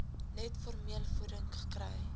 net formulevoeding kry